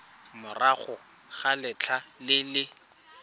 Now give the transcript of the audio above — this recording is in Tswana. morago ga letlha le le